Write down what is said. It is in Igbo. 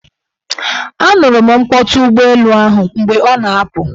A nụrụ m mkpọtụ ụgbọelu ahụ mgbe ọ na-apụ.